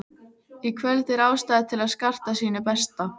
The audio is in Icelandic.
Í kvöld er ástæða til að skarta sínu besta.